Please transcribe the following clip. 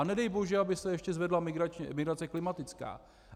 A nedej bože, aby se ještě zvedla migrace klimatická.